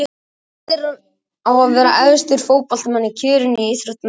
Hver á að vera efstur fótboltamanna í kjörinu á Íþróttamanni ársins?